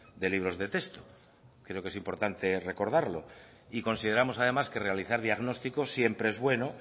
de libros de texto creo que es importante recordarlo y consideramos además que realizar diagnósticos siempre es bueno